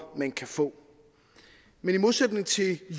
man kan få men i modsætning til